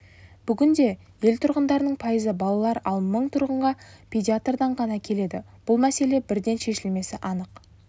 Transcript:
бүгінде ел тұрғындарының пайызы балалар ал мың тұрғынға педиатрдан ғана келеді бұл мәселе бірден шешілмесі анық